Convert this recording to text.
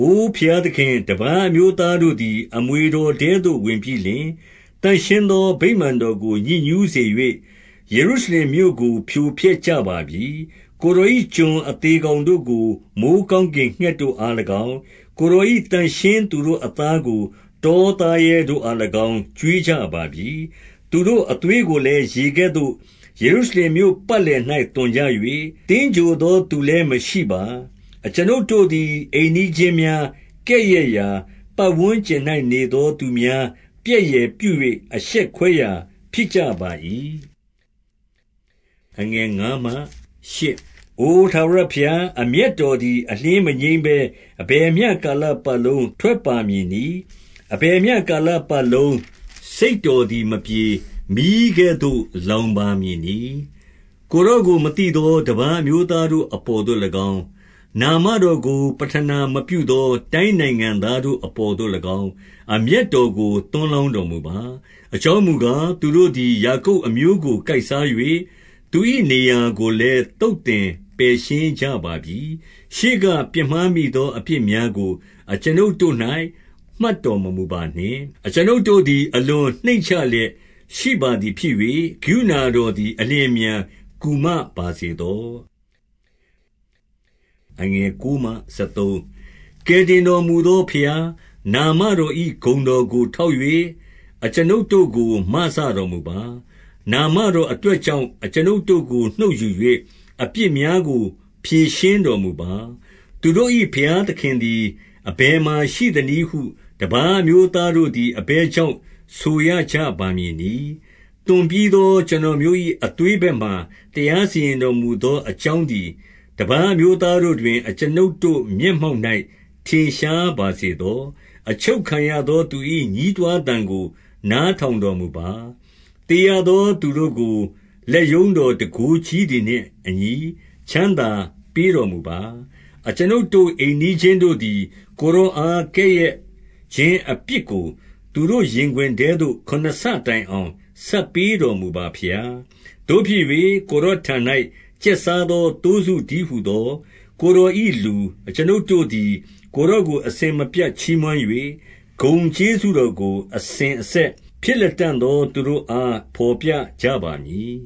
အိုဘုရားသခင်၊ တပါးအမျိုးသားတို့သည် အမွေတော်ထဲသို့ ဝင်ပြီးလျှင်၊ သန့်ရှင်းသော ဗိမာန်တော် ကို ညစ်ညှုးစေ၍၊ ယေရုရှလင်မြို့ကို ဖြိုဖျက်ကြပါပြီ။ ကိုယ်တော်၏ ကျွန်အသေကောင်တို့ကို မိုဃ်း ကောင်းကင်ငှက်တို့အား၎င်း၊ ကိုယ်တော်၏ သန့်ရှင်းသူတို့ အသားကို တောသားရဲတို့အား၎င်း ကျွေးကြပါပြီ၊ သူတို့အသွေးကိုလည်း ရေကဲ့သို့ ယေရုရှလင်မြို့ ပတ်လည်၌ သွန်ကြ၍၊ သင်္ဂြိုဟ်သော သူလည်းမရှိပါ။ အကျွန်ုပ်တို့သည် အိမ်နီးချင်းများ ကဲ့ရဲ့ရာ၊ ပတ်ဝန်းကျင်၌ နေသောသူများ ပြက်ယယ်ပြု၍ အရှက်ခွဲ ရာ ဖြစ်ကြပါ၏။ အို ထာဝရဘုရား၊ အမျက်တော်သည် အလျှင်း မငြိမ်းဘဲ အဘယ်မျှကာလပတ်လုံးထွက်ပါမည်နည်း။ အဘယ်မျှကာလပတ်လုံး စိတ်တော်သည် မပြေ၊ မီးကဲ့သို့ လောင်ပါမည်နည်း။ ကိုယ်တော်ကို မသိသောတပါး အမျိုးသားတို့ အပေါ်သို့၎င်း၊ နာမတော်ကို ပဌနာမပြုသော တိုင်းနိုင်ငံ သားတို့အပေါ်သို့၎င်း၊ အမျက်တော်ကို သွန်းလောင်း တော်မူပါ။ အကြောင်းမူကား၊ သူတို့သည် ယာကုပ်အမျိုးကို ကိုက်စား၍၊ သူ၏နေရာကိုလည်း သုတ်သင်ပယ်ရှင်းကြ ပါပြီ။ ရှေးကပြစ်မှားမိသော အပြစ်များကို အကျွန်ုပ် တို့၌ မှတ်တော်မမူပါနှင့်။ အကျွန်ုပ်တို့သည် အလွန် နှိမ့်ချလျက်ရှိပါသည်ဖြစ်၍၊ ကရုဏာ တော်သည် အလျင်အမြန်ကူမပါစေသော။ ကယ်တင်တော်မူသောဘုရား၊ နာမတော်၏ ဂုဏ်ကို ထောက်၍ အကျွန်ုပ်တို့ကို မစတော်မူပါ။ နာမတော်အတွက်ကြောင့်၊ အကျွန်ုပ်တို့ကို နှုတ်ယူ၍ အပြစ်များကို ဖြေရှင်းတော်မူပါ။ သူတို့၏ ဘုရားသခင်သည် အဘယ်မှာရှိ သနည်းဟု တပါးအမျိုးသားတို့သည် အဘယ်ကြောင့် ဆိုရကြပါမည်နည်း။ သွန်ပြီးသော ကျွန်တော်မျိုး၏ အသွေးဘက်မှာ တရားစီရင်တော်မူသော အကြောင်း သည် တပါးအမျိုးသားတို့တွင် အကျွန်ုပ်တို့ မျက်မှောက်၌ ထင်ရှားပါစေသော။ အချုပ်ခံရသော သူ၏ ညည်းတွားသံကို နားထောင်တော်မူပါ။ သေရသောသူတို့ကို လက်ရုံးတော် တန်ခိုးကြီးသည်နှင့်အညီ ချမ်းသာ ပေးတော်မူပါ။ အကျွန်ုပ်တို့ အိမ်နီးချင်းတို့သည် ကိုယ်တော်အား ကဲ့ရဲ့ခြင်းအပြစ်ကို သူတို့ရင်ခွင်ထဲသို့ ခုနစ်ဆတိုင်အောင် ဆပ်ပေးတော်မူပါဘုရား။ သို့ဖြစ်၍၊ ကိုယ်တော်ထံ၌ ကျက်စားသော သိုးစုတည်းဟူသော ကိုယ်တော်၏လူ အကျွန်ုပ်တို့သည် ကိုယ်တော်ကို အစဉ်မပြတ်ချီးမွမ်း၍၊ ဂုဏ်ကျေးဇူးတော် ကို အစဉ်အဆက် ဖြစ်လတံ့သောသးတို့အား ဘော်ပြ ကြပါမည်